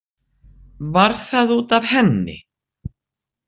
Var það út af henni?